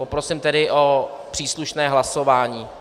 Poprosím tedy o příslušné hlasování.